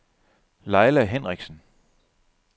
Leila Henrichsen